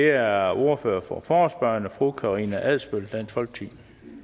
er ordføreren for forespørgerne fru karina adsbøl dansk folkeparti